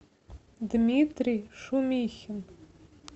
дмитрий шумихин